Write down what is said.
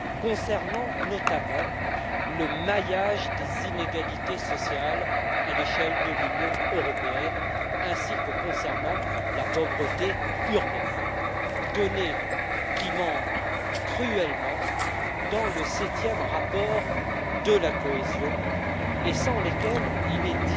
concernant notamment le maillage des inégalités sociales à l'échelle de l'Union européenne ainsi que concernant la pauvreté urbaine données qui manquent cruellement dans le 7e rapport de la cohésion et sans lesquelles il est